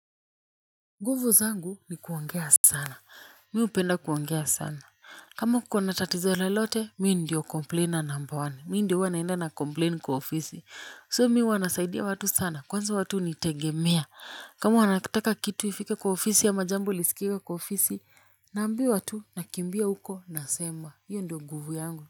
Nguvu zangu ni kuongea sana. Mimi hupenda kuongea sana. Kama kuko na tatizo lolote, mimi ndiyo "complainer number one". Mimi ndiyo huwa naenda na "complain" kwa ofisi. "So" mimi huwa nasaidia watu sana. Kwanza watu hunitegemea. Kama wanataka kitu ifike kwa ofisi ama jambo liskiwe kwa ofisi, naambiwa tu nakimbia huko nasema. Iyo ndiyo nguvu yangu.